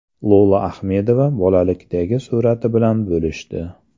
Lola Ahmedova bolalikdagi surati bilan bo‘lishdi.